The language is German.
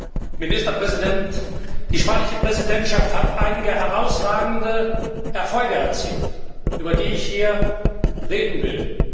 Herr Ministerpräsident, die spanische Präsidentschaft hat einige herausragende Erfolge erzielt, über die ich hier reden will.